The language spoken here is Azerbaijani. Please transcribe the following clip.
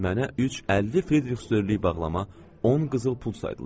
Mənə 3 50 Fridrix störlü bağlama, 10 qızıl pul saydılar.